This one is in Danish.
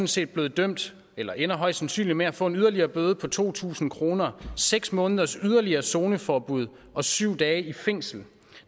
set blevet dømt eller ender højst sandsynligt med at få en yderligere bøde på to tusind kr seks måneders yderligere zoneforbud og syv dage i fængsel